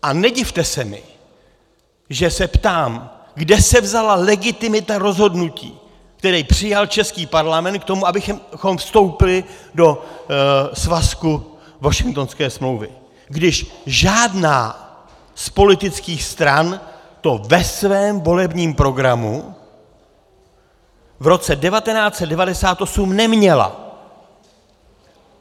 A nedivte se mi, že se ptám, kde se vzala legitimita rozhodnutí, které přijal český Parlament k tomu, abychom vstoupili do svazku Washingtonské smlouvy, když žádná z politických stran to ve svém volebním programu v roce 1998 neměla.